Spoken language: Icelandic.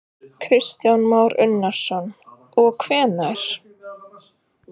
Kristján Már Unnarsson: Og hvenær?